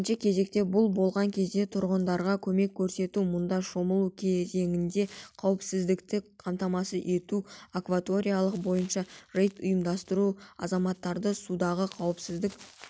бірінші кезекте бұл болған кезде тұрғындарға көмек көрсету мұнда шомылу кезеңінде қауіпсіздікті қамтамасыз ету акваториялар бойынша рейд ұйымдастыру азаматтарды судағы қауіпсіздік